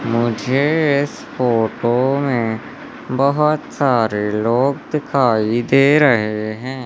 मुझे इस फोटो में बहुत सारे लोग दिखाई दे रहे हैं।